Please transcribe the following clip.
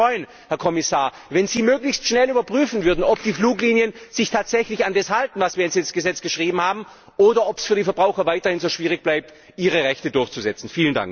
Ich würde mich freuen, Herr Kommissar, wenn Sie möglichst schnell überprüfen würden, ob die Fluglinien sich tatsächlich an das halten, was wir ins Gesetz geschrieben haben, oder ob es für die Verbraucher weiterhin so schwierig bleibt, ihre Rechte durchzusetzen.